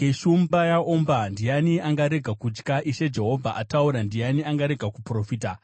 Shumba yaomba, ndiani angarega kutya? Ishe Jehovha ataura, ndiani angarega kuprofita?